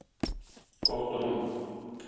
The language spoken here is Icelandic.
Gott rúm